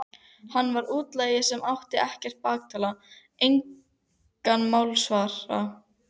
Hann var útlagi sem átti ekkert bakland, engan málsvara.